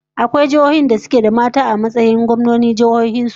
Akwai jiihohin da suke da mata a matsayin gwamnonin jihohin su?